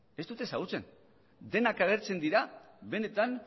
ez dut ezagutzen denak agertzen dira benetan